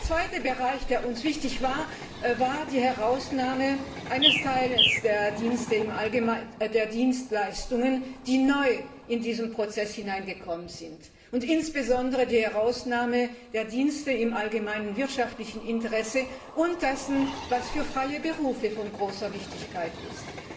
Der zweite Bereich, der uns wichtig war, war die Herausnahme eines Teils der Dienstleistungen, die neu in diesen Prozess hineingekommen sind, insbesondere die Herausnahme der Dienste im allgemeinen wirtschaftlichen Interesse und dessen, was für freie Berufe von großer Wichtigkeit ist.